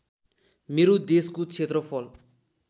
मेरो देशको क्षेत्रफल